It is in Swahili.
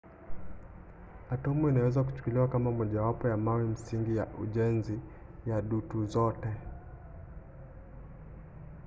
atomu inaweza kuchukuliwa kama mojawapo ya mawe msingi ya ujenzi ya dutu zote